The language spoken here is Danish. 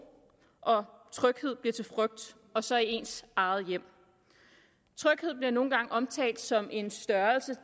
og tryghed bliver til frygt og så i ens eget hjem tryghed bliver nogle gange omtalt som en størrelse